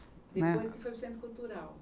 Depois que foi para o Centro Cultural.